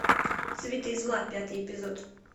цветы зла пятый эпизод